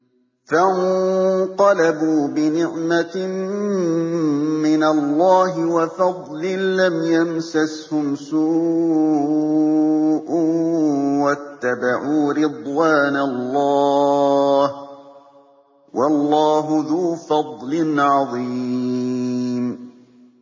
فَانقَلَبُوا بِنِعْمَةٍ مِّنَ اللَّهِ وَفَضْلٍ لَّمْ يَمْسَسْهُمْ سُوءٌ وَاتَّبَعُوا رِضْوَانَ اللَّهِ ۗ وَاللَّهُ ذُو فَضْلٍ عَظِيمٍ